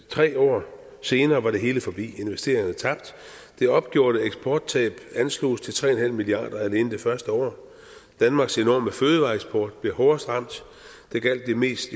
tre år senere var det hele forbi investeringerne tabt det opgjorte eksporttab ansloges til tre milliard kroner alene det første år danmarks enorme fødevareeksport blev hårdest ramt det gjaldt jo mest